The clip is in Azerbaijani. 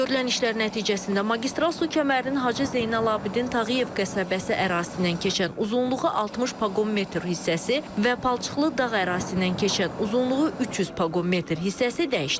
Görülən işlər nəticəsində magistral su kəmərinin Hacı Zeynalabdin Tağıyev qəsəbəsi ərazisindən keçən uzunluğu 60 paqon metr hissəsi və palçıqlı dağ ərazisindən keçən uzunluğu 300 paqon metr hissəsi dəyişdirilib.